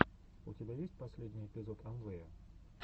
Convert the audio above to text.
у тебя есть последний эпизод амвэя